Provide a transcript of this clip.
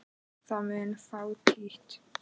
Það mun fátítt.